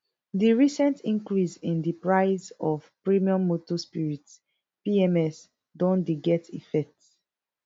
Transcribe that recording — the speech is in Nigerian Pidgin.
di recent increase in di price of premium motor spirits pms don dey get effect